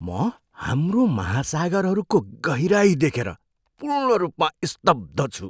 म हाम्रो महासागरहरूको गहिराइ देखेर पूर्ण रूपमा स्तब्ध छु!